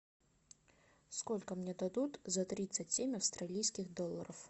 сколько мне дадут за тридцать семь австралийских долларов